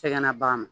Tɛgɛna bagan ma